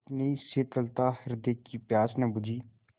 इतनी शीतलता हृदय की प्यास न बुझी